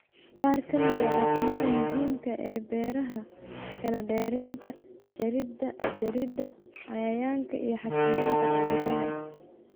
Qaar ka mid ah dhaqamada muhiimka ah ee beeraha: kala dheeraynta, jaridda jaridda, cayayaanka iyo xakamaynta cudurrada.